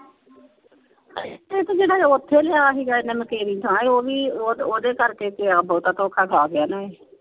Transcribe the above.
ਇਹ ਤੇ ਜਿਹੜਾ ਓਥੇ ਲਿਆ ਸੀ ਇਹਨਾ ਤੇਰੀ ਥਾਂ ਉਹ ਵੀ ਓਹ ਓਹਦੇ ਕਰਕੇ ਬਹੁਤਾ ਧੋਖਾ ਖਾ ਗਿਆ ਨੇ।